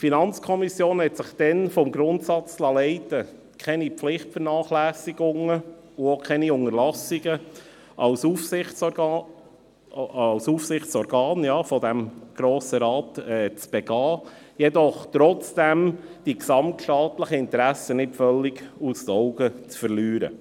Die FiKo liess sich dabei vom Grundsatz leiten, keine Pflichtvernachlässigungen und keine Unterlassungen als Aufsichtsorgan des Grossen Rates zu begehen, jedoch trotzdem die gesamtstaatlichen Interessen nicht völlig aus den Augen zu verlieren.